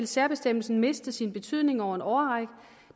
særbestemmelsen miste sin betydning over en årrække